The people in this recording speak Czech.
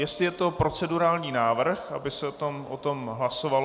Jestli je to procedurální návrh, aby se o tom hlasovalo?